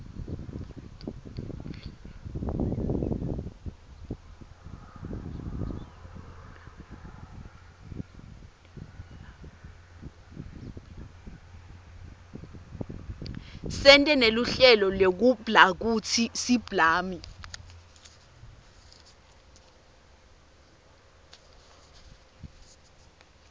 sente neluhlelo lekublakutsi siblami